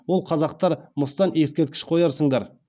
ол қазақтар мыстан ескерткіш қоярсыңдар